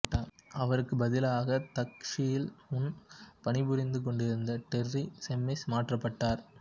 அவருக்குப் பதிலாக த க்லஷ்ஷில் முன்பு பணிபுரிந்து கொண்டிருந்த டெர்ரி செம்மிஸ் மாற்றப்பட்டார்